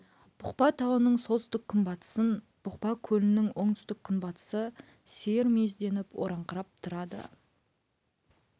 бұқпа тауының солтүстік күнбатысын бұқпа көлінің оңтүстік күнбатысы сиыр мүйізденіп ораңқырап тұрады